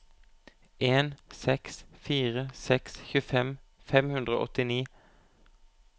en seks fire seks tjuefem fem hundre og åttini